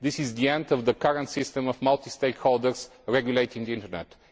This is the end of the current system of multi stakeholders regulating the internet.